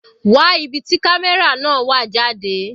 Wá ibi tí camera náà wà jáde.